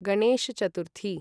Ganesh Chaturthi